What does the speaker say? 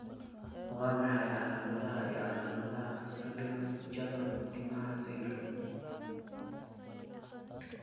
Waa maxay calaamadaha iyo calaamadaha Sabinas jaban timaha syndrome?